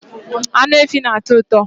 Anụ efi na-atọ ụtọ